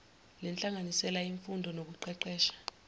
lenhlanganisela yemfundo nokuqeqesha